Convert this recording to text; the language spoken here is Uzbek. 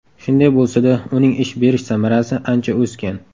Shunday bo‘lsa-da uning ish berish samarasi ancha o‘sgan.